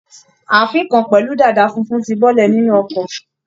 Ààfín kan pẹ̀lú dàda funfun ti bọ́lẹ̀ nínú ọkọ̀.